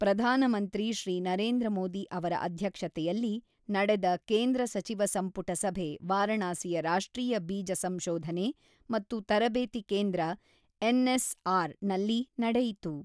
ಪ್ರಧಾನಮಂತ್ರಿ ಶ್ರೀ ನರೇಂದ್ರ ಮೋದಿ ಅವರ ಅಧ್ಯಕ್ಷತೆಯಲ್ಲಿ ನಡೆದ ಕೇಂದ್ರ ಸಚಿವ ಸಂಪುಟ ಸಭೆ ವಾರಾಣಸಿಯ ರಾಷ್ಟ್ರೀಯ ಬೀಜ ಸಂಶೋಧನೆ ಮತ್ತು ತರಬೇತಿ ಕೇಂದ್ರ ಎನ್ಎಸ್ಆರ್.ನಲ್ಲಿ ನಡಿಯಿತು.